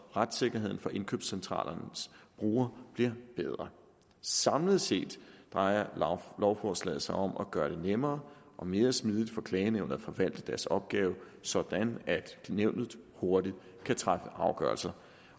retssikkerheden for indkøbscentralernes brugere bliver bedre samlet set drejer lovforslaget sig om at gøre det nemmere og mere smidigt for klagenævnet at forvalte deres opgave sådan at nævnet hurtigt kan træffe afgørelser